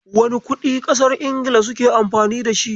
Wane kuɗin ƙasar Ingila suke Amfani da shi?